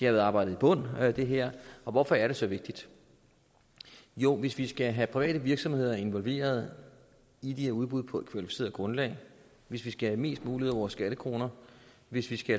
har været arbejdet i bund med alt det her hvorfor er det så vigtigt jo hvis vi skal have private virksomheder involveret i de her udbud på et kvalificeret grundlag hvis vi skal have mest muligt ud af vores skattekroner hvis vi skal